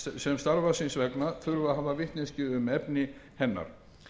sem starfs síns vegna þurfa að hafa vitneskju um efni hennar